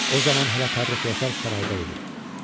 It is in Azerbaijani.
O zaman hələ Fərrux Yasar sarayda idi.